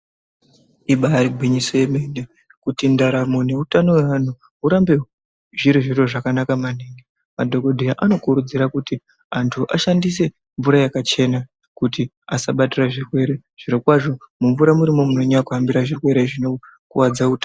Ibaari gwinyiso yemene kuti ndaramo neutano hwevanhu zvirambe zviri zviro zvakanaka maningi madhokodheya anokurudzira kuti anthu ashandise mvura yakachena kuti asabatire zvirwere zviro kwazvo mumvura murimwo munyanya kuahambira zvirwere zvinokuwadza utano.